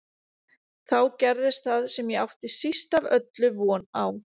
Þá gerðist það sem ég átti síst af öllu von á.